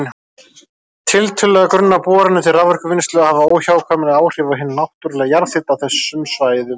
Tiltölulega grunnar boranir til raforkuvinnslu hafa óhjákvæmilega áhrif á hinn náttúrlega jarðhita á þessum svæðum.